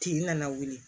Kin nana wuli